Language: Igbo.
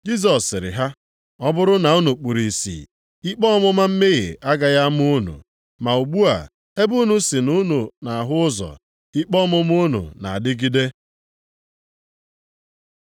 Jisọs sịrị ha, “Ọ bụrụ na unu kpuru ìsì, ikpe ọmụma mmehie agaghị ama unu, ma ugbu a ebe unu sị na unu na-ahụ ụzọ ikpe ọmụma unu na-adịgide.”